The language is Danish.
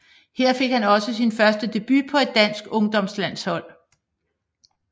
Her fik han også sin første debut for et dansk ungdomslandshold